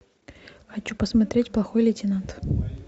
хочу посмотреть плохой лейтенант